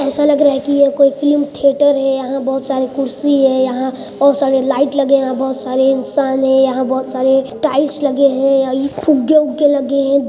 ऐसा लग रहा कि यह कोई फिल्मी थिएटर है यहाँ बहुत सारी कुर्सी है यहाँ बहुत सारे लाइट लगे हैं यहाँ बहुत सारे इंसान है यह बहुत सारे टाइल्स लगे हैं फुगे -उगे लगे हैं।